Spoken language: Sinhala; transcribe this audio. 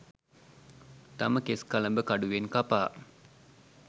තම කෙස්කලඹ කඩුවෙන් කපා